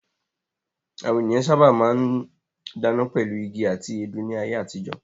Àwọn ènìyàn sábà máa ń dáná pẹ̀lú igi àti èédú ní ayé àtijọ́.